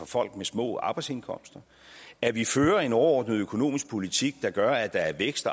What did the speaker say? folk med små arbejdsindkomster at vi fører en overordnet økonomisk politik der gør at der er vækst